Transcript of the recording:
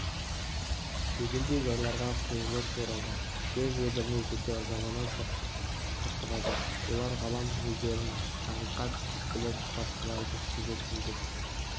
дегендей жайларға құйылып оралады жер-жебіріне жете ызалана соқтығады олар ғалам өздерін тариқат біліп басқаларды жеткізбек